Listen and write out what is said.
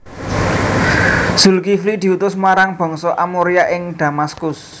Zulkifli diutus marang Bangsa Amoria ing Damaskus